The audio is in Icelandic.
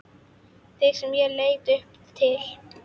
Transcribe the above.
Þig sem ég leit upp til.